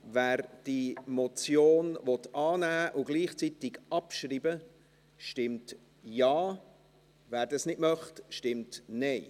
Wer diese Motion annehmen und gleichzeitig abschreiben will, stimmt Ja, wer das nicht möchte, stimmt Nein.